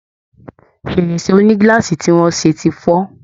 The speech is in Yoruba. Fèrèsé oní glass tí wọ́n ṣe ti fọ́